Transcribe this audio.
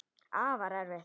Afar erfitt.